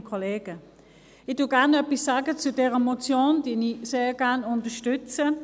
Ich sage gerne etwas zu dieser Motion, sie ich sehr gerne unterstütze.